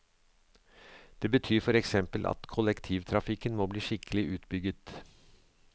Det betyr for eksempel at kollektivtrafikken må bli skikkelig utbygget.